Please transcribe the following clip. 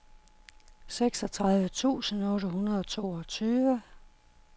seksogtredive tusind otte hundrede og toogtyve